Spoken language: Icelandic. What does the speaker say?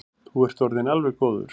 Þú ert orðinn alveg góður.